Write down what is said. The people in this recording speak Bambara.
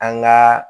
An gaa